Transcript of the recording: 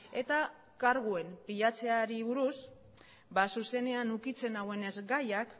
eta karguen pilatzeari buruz zuzenean ukitzen nauenez gaiak